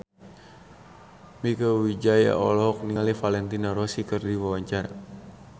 Mieke Wijaya olohok ningali Valentino Rossi keur diwawancara